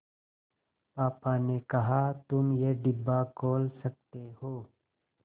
पापा ने कहा तुम ये डिब्बा खोल सकते हो